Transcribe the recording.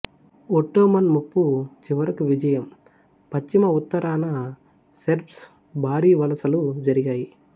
Ottoman ముప్పు చివరకు విజయం పశ్చిమ ఉత్తరాన సెర్బ్స్ భారీ వలసలు జరిగాయి